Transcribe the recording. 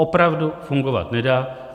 Opravdu fungovat nedá.